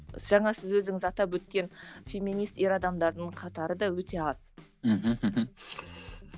жаңа сіз өзіңіз атап өткен феминист ер адамдардың қатары да өте аз мхм мхм